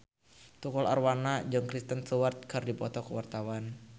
Tukul Arwana jeung Kristen Stewart keur dipoto ku wartawan